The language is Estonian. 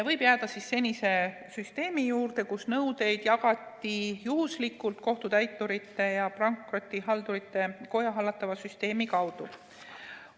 Võib jääda senise süsteemi juurde, kus nõudeid jagatakse juhuslikult Kohtutäiturite ja Pankrotihaldurite Koja hallatava süsteemi kaudu.